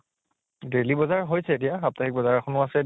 daily বজাৰ হৈছে এতিয়া, সাপ্তাহিক বজাৰ এখ্নো আছে